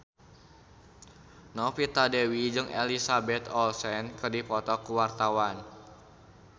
Novita Dewi jeung Elizabeth Olsen keur dipoto ku wartawan